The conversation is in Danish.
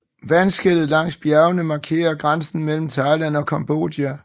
Vandskellet langs bjergene markerer grænsen mellem Thailand og Cambodja